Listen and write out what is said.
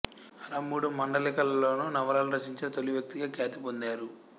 అలా మూడు మాండలికాల్లోనూ నవలలు రచించిన తొలి వ్యక్తిగా ఖ్యాతి పొందారు